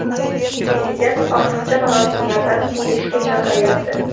Prezident ortiqcha marosimlardan tiyilishga chaqiryapti.